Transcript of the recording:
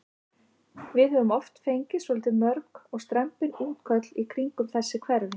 Við höfum oft fengið svolítið löng og strembin útköll í kringum þessi hverfi?